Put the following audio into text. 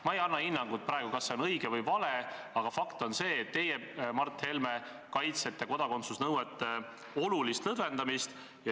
Ma ei anna praegu hinnangut, kas see on õige või vale, aga fakt on see, et teie, Mart Helme, kaitsete kodakondsusnõuete olulist lõdvendamist.